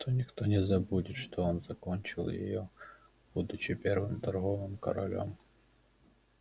зато никто не забудет что он закончил её будучи первым торговым королём